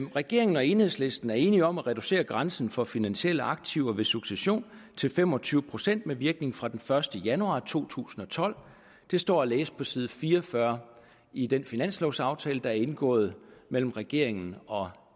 regeringen og enhedslisten er enige om at reducere grænsen for finansielle aktiver ved succession til fem og tyve procent med virkning fra den første januar to tusind og tolv det står at læse på side fire og fyrre i den finanslovaftale der er indgået mellem regeringen og